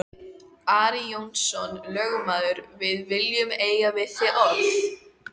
Ari Jónsson lögmaður,-við viljum eiga við þig orð!